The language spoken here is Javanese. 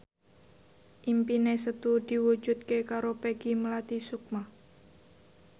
impine Setu diwujudke karo Peggy Melati Sukma